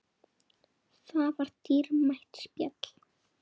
Það var dýrmætt spjall.